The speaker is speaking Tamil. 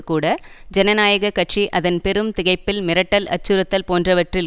கூட ஜனநாயக கட்சி அதன் பெரும் திகைப்பில் மிரட்டல் அச்சுறுத்தல் போன்றவற்றில்